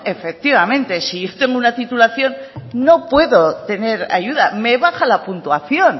efectivamente si yo tengo una titulación no puede obtener ayuda me baja la puntuación